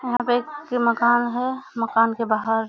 यहाँ पे एक मकान है। मकान के बाहर --